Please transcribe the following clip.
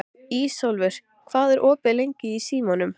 Ísólfur, hvað er opið lengi í Símanum?